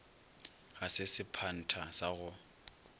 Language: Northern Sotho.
ga se sephantha sa go